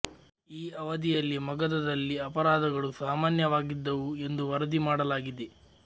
ಈ ಅವಧಿಯಲ್ಲಿ ಮಗಧದಲ್ಲಿ ಅಪರಾಧಗಳು ಸಾಮಾನ್ಯವಾಗಿದ್ದವು ಎಂದು ವರದಿ ಮಾಡಲಾಗಿದೆ